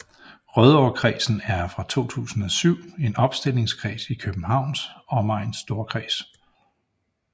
Rødovrekredsen er fra 2007 en opstillingskreds i Københavns Omegns Storkreds